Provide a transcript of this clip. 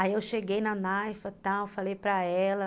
Aí eu cheguei na Naifa, tal, falei para ela.